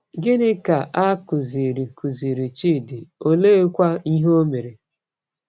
Gịnị ka a kụziiri kụziiri Chidi, oleekwa ihe o mere?